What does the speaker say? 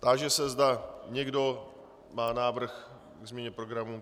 Táži se, zda někdo má návrh ke změně programu.